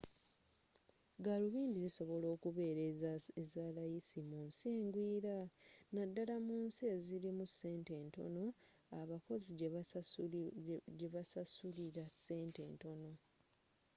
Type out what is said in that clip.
galubindi zisobola okubeera ezalayisi mu nsi engwira naddala mu nsi ezirimu sente entono abakozi jebabasasulira sente entono